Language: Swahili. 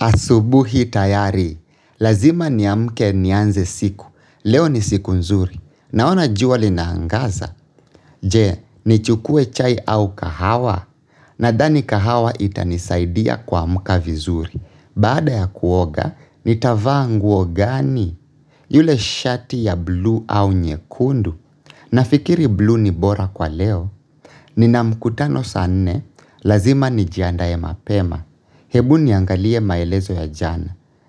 Asubuhi tayari. Lazima niamke nianze siku. Leo ni siku nzuri. Naona jua linaangaza. Je, nichukue chai au kahawa. Nadhani kahawa itanisaidia kuamka vizuri. Baada ya kuoga, nitavaa nguo gani? Yule shati ya blue au nyekundu. Nafikiri blue ni bora kwa leo, nina mkutano saa nne, lazima nijiandae mapema, hebu niangalie maelezo ya jana,